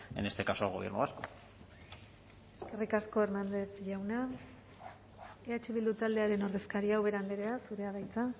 en este caso al gobierno vasco eskerrik asko hernández jauna eh bildu taldearen ordezkaria ubera andrea zurea da hitza